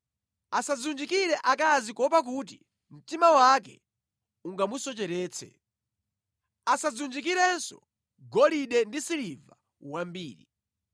Asadziwunjikire akazi kuopa kuti mtima wake ungamusocheretse. Asadziwunjikirenso golide ndi siliva wambiri.